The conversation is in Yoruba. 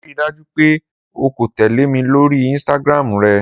Rii daju pe o ko tẹle mi lori Instagram rẹ!